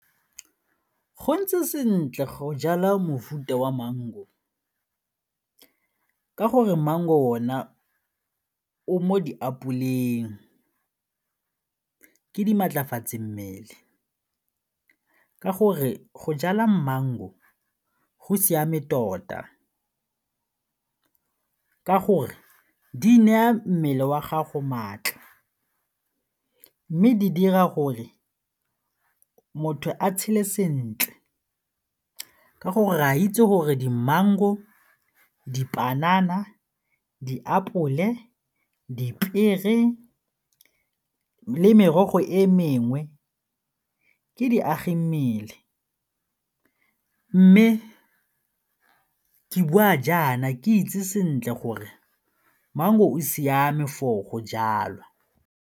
Go ntse sentle go jala mofuta wa mango ka gore mang ona o mo diapoleng, ke di maatlafatso mmele ka gore go jala mango go siame tota ka gore di neya mmele wa gago maatla mme di dira gore motho a tshele sentle ka gore re a itse gore di mango, dipanana, diapole, dipiere le merogo e mengwe ke diagimmele mme ke bua jaana ke itse sentle gore mang o siame for go jalwa.